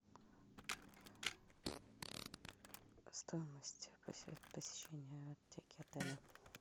стоимость посещения аптеки отеля